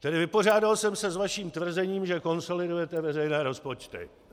Tedy vypořádal jsem se s vaším tvrzením, že konsolidujete veřejné rozpočty.